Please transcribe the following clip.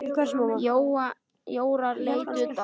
Jóra leit undan.